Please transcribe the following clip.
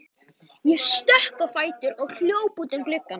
Ég stökk á fætur og hljóp út að glugga.